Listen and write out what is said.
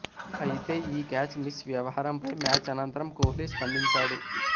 అయితే ఈ catch miss వ్యవహారంపై మ్యాచ్ అనంతరం కోహ్లీ స్పందించాడు